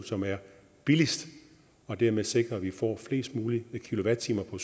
som er billigst og dermed sikrer at vi får flest mulige kilowatt timer fra